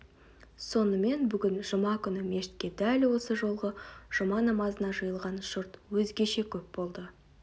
сонымен бүгін жұма күні мешітке дәл осы жолғы жұма намазына жиылған жұрт өзгеше көп болды